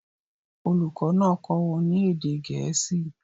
Olùkọ́ náà kọ́ wọn ní èdè Gẹ̀ẹ́sì